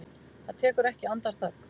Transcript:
Það tekur ekki andartak.